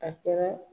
A kɛra